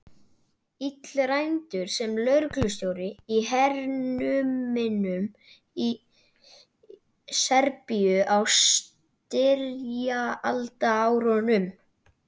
Illræmdur sem lögreglustjóri í hernuminni Serbíu á styrjaldarárunum.